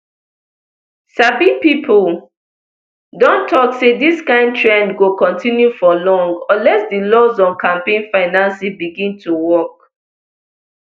sabi pipo don tok say dis kind trend go continue for long unless di laws on campaign financing begin to work